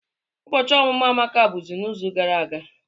Ụbọchị ọmụmụ Amaka bụbu n'izu gara aga.